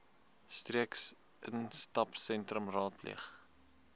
streeks instapsentrums raadpleeg